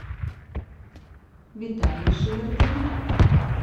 виталий шевердин